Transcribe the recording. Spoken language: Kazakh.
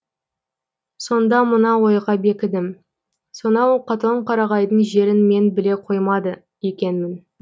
сонда мына ойға бекідім сонау катонқарағайдың жерін мен біле қоймады екенмін